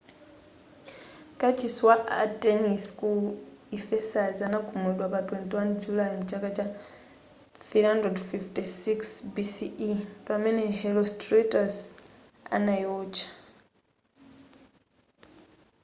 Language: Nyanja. kachisi wa artenis ku ephesus anagumulidwa pa 21 julayi mchaka cha 356 bce pamene herostratus analiotcha